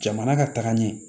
Jamana ka taga ɲɛ